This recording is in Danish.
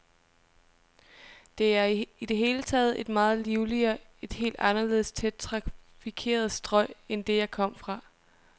Det er i det hele taget et meget livligere, et helt anderledes tæt trafikeret strøg end det, jeg kom fra.